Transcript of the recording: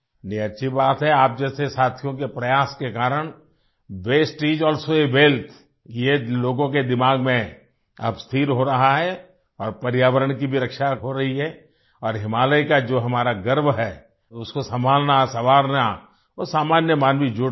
ये अच्छी बात है आप जैसे साथियों के प्रयास के कारण वास्ते इस अलसो आ वेल्थ ये लोगों के दिमाग में अब स्थिर हो रहा है और पर्यावरण की भी रक्षा अब हो रही है और हिमालय का जो हमारा गर्व है उसको संभालना संवारना और सामान्य मानवी भी जुड़ रहा है